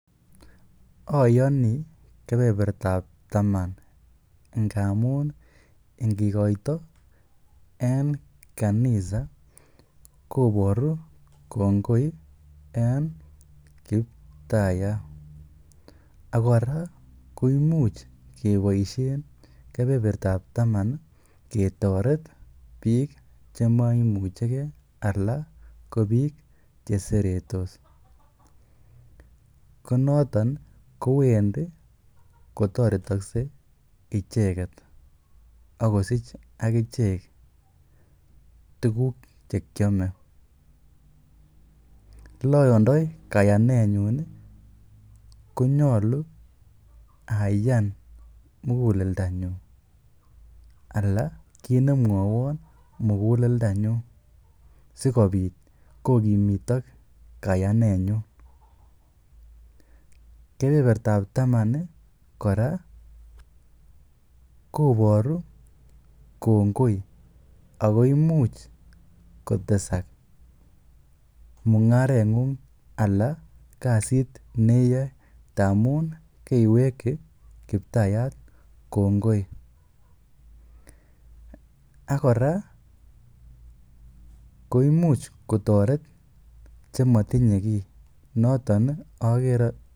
Oyoni kebebertab taman ngamun ingkoito en kanisa koboru kongoi en Kiptaiyat, ak kora ko imuch keboisien kebebertab taman ketoret biik che moimuche ge anan ko biik che seretos. Ko noton kowendi kotoretokse icheget ak kosich ak ichek tuguk che kyome. Ele oyondoi kayanenyun, konyolu ayan muguleldanyun anan kiit ne mwowon muguleldanyun sikobit kogimitok kayanenyun. Kebebertab taman kora koboru kongoi ago imuch kotesak mung'areng'ung anan kasit ne iyoe ngamun keiweki Kiptayat kongoi. Ak kora koimuch kotoret che motinye kiy.